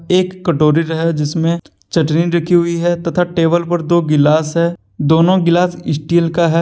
एक कटोरी जिसमे चटनी रखी हुई है तथा टेबल पर दो गिलास है दोनों गिलास स्टील का है।